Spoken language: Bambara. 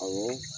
Awɔ